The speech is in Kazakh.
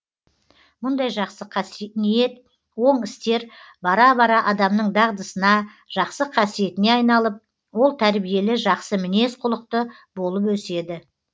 мұндай жақсы ниет оң істер бара бара адамның дағдысына жақсы қасиетіне айналып ол тәрбиелі жақсы мінез кұлықты болып өседі